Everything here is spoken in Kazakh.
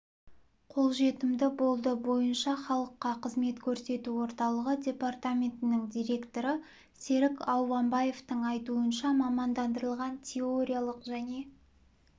қолжетімді болды бойынша халыққа қызмет көрсету орталығы департаментінің директоры серік ауғанбаевтың айтуынша мамандандырылған теориялық және